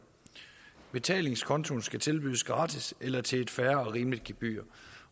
betalingskontoen skal tilbydes gratis eller til et fair og rimeligt gebyr